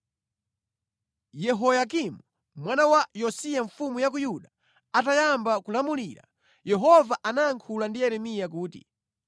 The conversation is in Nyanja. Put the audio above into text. Yehoyakimu, mwana wa Yosiya mfumu ya ku Yuda atayamba kulamulira, Yehova anayankhula ndi Yeremiya kuti,